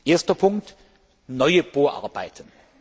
Erster Punkt neue Bohrarbeiten.